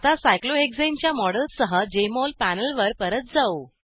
आता सायक्लोहेक्साने च्या मॉडेलसह जेएमओल पॅनेलवर परत जाऊ